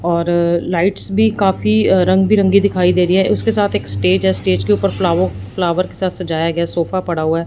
और लाइट्स भी काफी रंग बिरंगी दिखाई दे रही है उसके साथ एक स्टेज है स्टेज के ऊपर फ्लाओ फ्लावर के साथ सजाया गया सोफा पड़ा हुआ है।